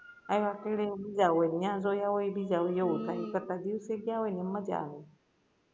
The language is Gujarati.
આયવા બીજા હોય યા જોયા હોય એ બીજા હોય એવુ થાય એના કરતા દિવસે ગ્યા હોય ને એમ મજા આવે